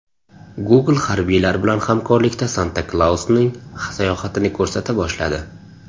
Google harbiylar bilan hamkorlikda Santa Klausning sayohatini ko‘rsata boshladi.